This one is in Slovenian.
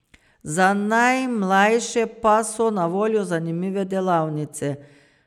Za najmlajše pa so na voljo zanimive delavnice.